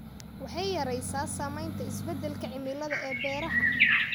Waxay yaraysaa saamaynta isbeddelka cimilada ee beeraha.